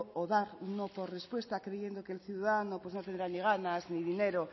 o dar un no por respuesta creyendo que el ciudadano no tendrá ni ganas ni dinero